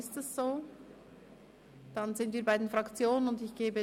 Wir sind bei den Fraktionssprechern.